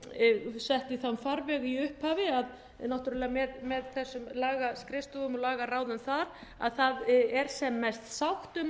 sett í þann farveg í upphafi að náttúrlega með þessum lagaskrifstofum og lagaráðum þar að það er sem mest sátt um